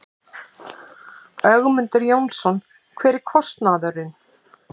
Ögmundur Jónasson: Hver er kostnaðurinn?